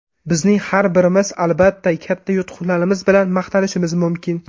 Bizning har birimiz, albatta, katta yutuqlarimiz bilan maqtanishimiz mumkin.